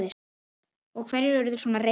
Og hverjir urðu svona reiðir?